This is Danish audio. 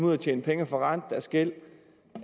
ud at tjene penge og forrente deres gæld